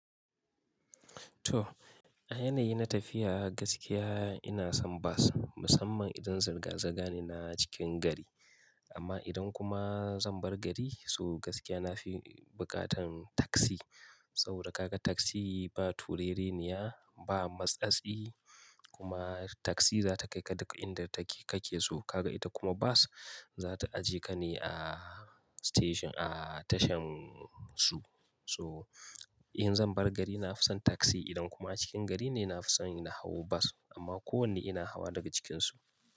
To, a yanayi na tafiya gaskiya ina son bas, musamman idan zirga-zirga ne na cikin gari. Amma idan kuma zan bar gari so gaskiya na fi bukatan taksi. Saboda ka ga taksi ba turere ni ya, ba matsatsi kuma taksi za ta kai ka duk inda take kake so. Ka ga ita kuma bas za ta ajiye ka ne a station a tashan su. So in zan bar gari na fi son taksi idan kuma cikin gari ne, na fi son na hau bas. Amma kowane ina hawa daga cikinsu.